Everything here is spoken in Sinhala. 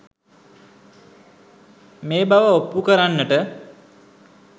මේ බව ඔප්පු කරන්නට